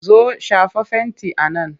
Zo! shafa fenti a nan!